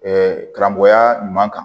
karamɔgɔya ɲuman kan